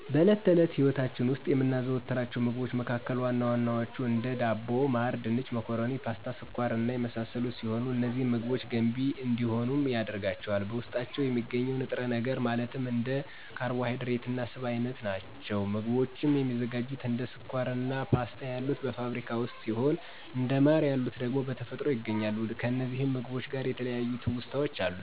በእለት ተእለት ህይወታች ዉስጥ የምናዘወትራቸው ምግቦች መካከል ዋና ዋናዎቹ፦ እንደ ዳቦ፣ ማር፣ ድንች፣ መኮረኒ፣ ፓስታ፣ ስኳር እና የመሳሰሉት ሲሆኑ፤ እነዚህን ምግቦች ገንቢ እንዲሆንም ያደረጋቸው በዉስጣቸው የሚገኘው ንጥረነገር ማለትም እንደ ካርቦሀይድሬት እና ስብ እይነቶች ናቸዉ። ምግቦችም የሚዘጋጁትም እንደ ስኳር አና ፓስታ ያሉት በፋብሪካ ውስጥ ሲሆኑ እንደ ማር የሉት ደግሞ በተፈጥሮ ይገኛሉ። ከእነዚህም ምግቦች ጋር የተለያዩ ትዉስታወች አሉኝ።